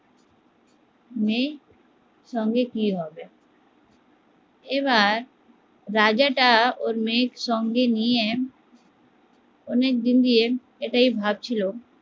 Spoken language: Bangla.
মেয়ের সঙ্গে কি হবে, এবার রাজাটা ওর মেয়েকে সঙ্গে নিয়ে অনেকদিন দিয়ে এটাই ভাবছিলো